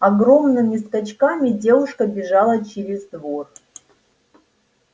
огромными скачками девушка бежала через двор